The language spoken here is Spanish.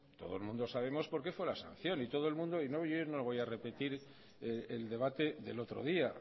todo el mundo sabemos por qué fue la sanción y todo el mundo y no lo voy a repetir el debate del otro día